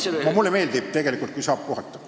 Tegelikult mulle meeldib, kui saab puhata.